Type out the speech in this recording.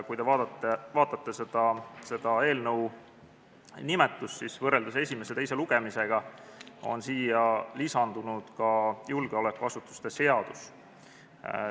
Kui te vaatate eelnõu nimetust, siis näete, et võrreldes esimese lugemisega on siia lisandunud juurde terminina ka julgeolekuasutuste seadus.